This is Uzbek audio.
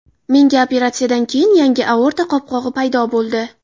Menda operatsiyadan keyin yangi aorta qopqog‘i paydo bo‘ldi.